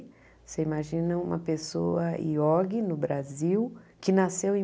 Você imagina uma pessoa iogue no Brasil, que nasceu em.